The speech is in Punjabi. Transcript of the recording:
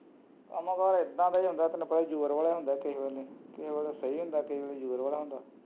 ਕੱਮਕਾਰ ਐਦਾਂ ਦਾ ਈ ਹੁੰਦਾ ਕਈ ਵਾਰ ਜ਼ੋਰ ਵਾਲਾ ਹੁੰਦਾ ਕਈ ਵਾਰ ਸਹੀ ਹੁੰਦਾ ਕਈ ਵਾਰ ਜ਼ੋਰ ਵਾਲਾ ਹੁੰਦਾ